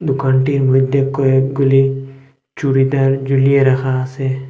দোকানটির মইদ্যে কয়েকগুলি চুড়িদার ঝুলিয়ে রাখা আসে।